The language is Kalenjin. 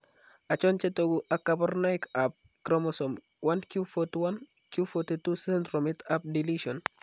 Achon chetogu ak kaborunoik ab Chromosome 1q41 q42 sndromit ab deletion?